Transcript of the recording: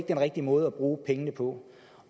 den rigtige måde at bruge pengene på